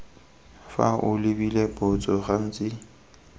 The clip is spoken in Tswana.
fa o lebile botso gantsi